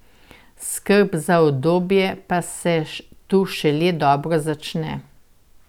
Skrb za udobje pa se tu šele dobro začne.